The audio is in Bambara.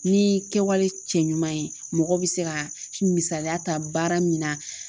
Ni kɛwale cɛ ɲuman ye mɔgɔ bi se ka misaliya ta baara min na